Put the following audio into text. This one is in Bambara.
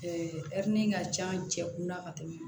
ka can cɛ kunna ka tɛmɛ